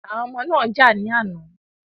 Àwọn ọmọ náà jà ní àná.